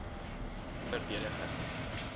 verdediging